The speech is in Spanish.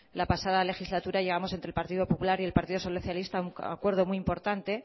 la pasada legislatura llevamos entre el partido popular y el partido socialista a un acuerdo muy importante